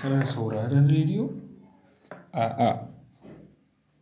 Kana sauraron rediyo? A'a,